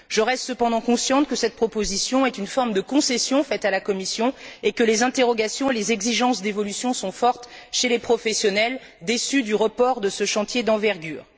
Je reste cependant consciente que cette proposition est une forme de concession faite à la Commission et que les interrogations et les exigences d'évolution sont fortes chez les professionnels, déçus du report de ce chantier d'envergure.